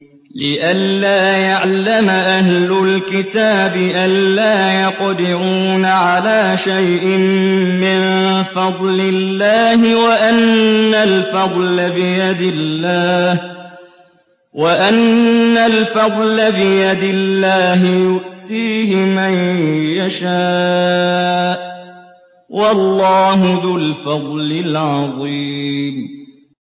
لِّئَلَّا يَعْلَمَ أَهْلُ الْكِتَابِ أَلَّا يَقْدِرُونَ عَلَىٰ شَيْءٍ مِّن فَضْلِ اللَّهِ ۙ وَأَنَّ الْفَضْلَ بِيَدِ اللَّهِ يُؤْتِيهِ مَن يَشَاءُ ۚ وَاللَّهُ ذُو الْفَضْلِ الْعَظِيمِ